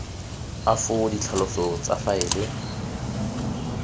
a foo ditlhaloso tsa faele